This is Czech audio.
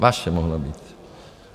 Vaše mohla být.